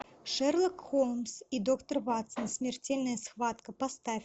шерлок холмс и доктор ватсон смертельная схватка поставь